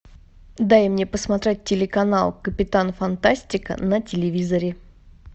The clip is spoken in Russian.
дай мне посмотреть телеканал капитан фантастика на телевизоре